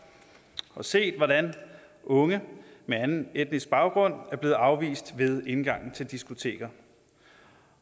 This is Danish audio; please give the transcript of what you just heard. og set hvordan unge med anden etnisk baggrund er blevet afvist ved indgangene til diskoteker